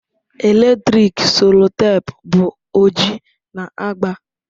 Eletrik sellotape bụ oji na agba.